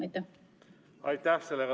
Aitäh!